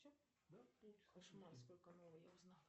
в каких источниках описывается логос